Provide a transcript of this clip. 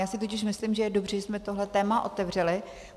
Já si totiž myslím, že je dobře, že jsme tohle téma otevřeli.